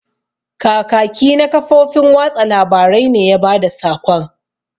Kakaki na kafofin watsa labarai ne ya bada sakon.